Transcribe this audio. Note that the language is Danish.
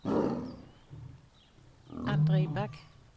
Andre Bak